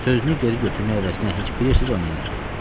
Sözünü geri götürmək əvəzinə heç bilirsiz o nə elədi?